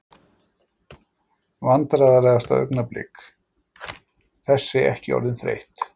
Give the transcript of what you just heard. Vandræðalegasta augnablik: Þessi ekki orðin þreytt?